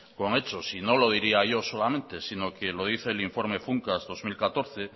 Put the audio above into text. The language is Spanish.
con hechos y no lo diría yo solamente sino que lo dice el informe funcas dos mil catorce